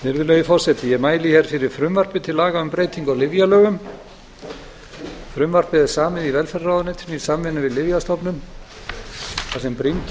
virðulegi forseti ég mæli hér fyrir frumvarpi til laga um breytingu á lyfjalögum frumvarpið er samið í velferðarráðuneytinu í samvinnu við lyfjastofnun þar sem brýnt